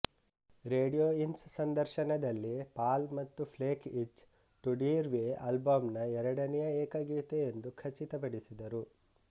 radio ಇನ್ಸ್ ಸಂದರ್ಶನದಲ್ಲಿ Paul ಮತ್ತು ಪ್ಲೇಕ್ ಇಚ್ ಟು ಡಿರ್ ವ್ಯೆ ಆಲ್ಬಂನ ಎರಡನೆಯ ಏಕಗೀತೆ ಎಂದು ಖಚಿತಪಡಿಸಿದರು